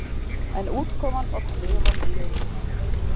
En útkoman olli vonbrigðum.